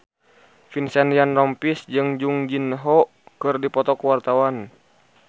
Vincent Ryan Rompies jeung Jung Ji Hoon keur dipoto ku wartawan